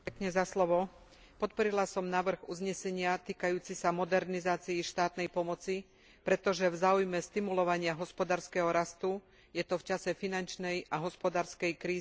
Podporila som návrh uznesenia týkajúci sa modernizácie štátnej pomoci, pretože v záujme stimulovania hospodárskeho rastu je to v čase finančnej a hospodárskej krízy nevyhnutné.